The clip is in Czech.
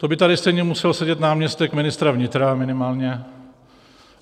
To by tady stejně musel sedět náměstek ministra vnitra minimálně.